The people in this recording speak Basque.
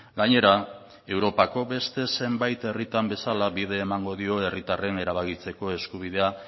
gainera europako beste zenbait herritan bezala bide emango dio herritarren erabakitzeko eskubidea